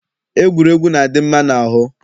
Egwuregwu na-adị mma n'ahụ.